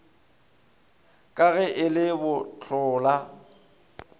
ka ge e le bohlola